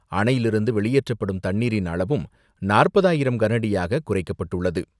அணையிலிருந்து வெளியேற்றப்படும் தண்ணீரின் அளவும் நாற்பதாயிரம் கனஅடியாக குறைக்கப்பட்டுள்ளது.